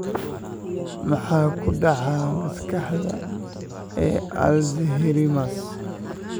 Maxaa ku dhaca Maskaxda ee Alzheimers?